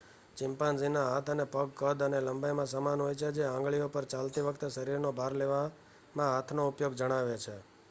ચિમ્પાન્ઝીના હાથ અને પગ કદ અને લંબાઈમાં સમાન હોય છે જે આંગળીઓ પર ચાલતી વખતે શરીરનો ભાર લેવામાં હાથનો ઉપયોગ જણાવે છે